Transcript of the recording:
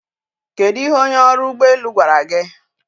Kedu ihe onye ọrụ ụgbọ elu gwara gị?